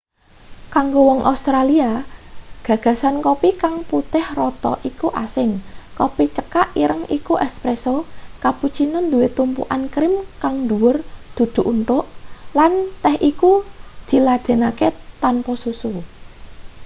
kanggo wong australia gagasan kopi kang 'putih rata' iku asing. kopi cekak ireng iku 'espresso' cappuccino duwe tumpukan krim kang dhuwur dudu unthuk lan teh iku diladenake tanpa susu